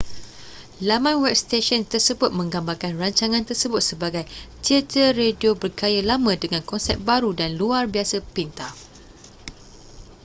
laman web stesen tersebut menggambarkan rancangan tersebut sebagai teater radio bergaya lama dengan konsep baru dan luar biasa pintar